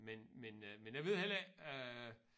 Men men øh men jeg ved heller ikke øh